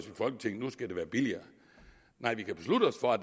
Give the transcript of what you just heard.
nu skal det være billigere nej vi kan beslutte os for at